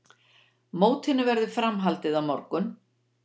Mótinu verður framhaldið á morgun